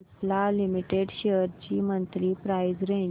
Cipla limited shares ची monthly price range